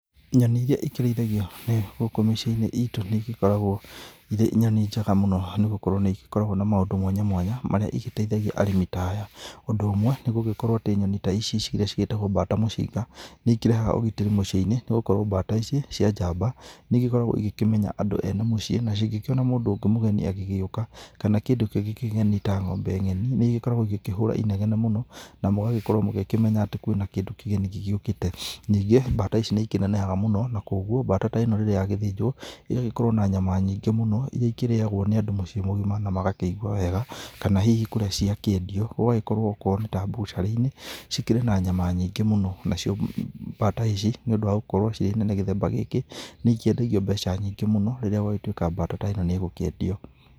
Nyoni ĩria ĩkĩrĩithagio gũkũ mĩcĩi -inĩ ĩtũ nĩ igĩkoragwo ĩrĩ nyoni njega mũno nĩgũkorwo nĩ ĩgĩkoragwo na maũndũ mwanya mwanya marĩa ĩgĩteithagia arĩmi ta aya. Ũndũ ũmwe nĩ gũgĩkorwo atĩ Nyoni ta ici ĩria cigĩtagwo mbata mũcinga nĩ ĩkĩrehaga ũgitĩri mũciĩ-inĩ nĩgũkorwo mbata ici cia njamba nĩigĩkoragwo ĩgĩkĩmenya andũ ene mũciĩ na cingĩkĩona mũndũ ũngĩ mũgeni agĩgĩũka kana kĩndũ kĩngĩ kĩgeni ta ng'ombe ng'eni nĩigĩkoragwo ĩgĩkĩhũra ĩnegene mũno na mũgagĩkorwo mũgĩkĩmenya atĩ kwĩna kĩndũ kĩgeni gĩgĩũkĩte. Ningĩ mbata ici nĩĩkĩnenehaga mũno na koguo mbata ta ĩno rĩrĩa yagĩthĩnjwo ĩgagĩkorwo na nyama nyingĩ mũno ĩria ĩkĩrĩyagwo nĩ andũ mũciĩ mũgĩma na magakĩigua wega kana hihi kũrĩa cĩakĩendio gũgagĩkorwo akorwo nĩ ta bucĩrĩ-inĩ cikĩrĩ na nyama nyingĩ mũno. Nacio mbata ici nĩ ũndũ wa gũkorwo cirĩ nene gĩthemba gĩkĩ nĩikĩendagio mbeca nyingĩ mũno rĩrĩa gwagĩtuĩka mbata ta ĩno nĩgũkĩendio.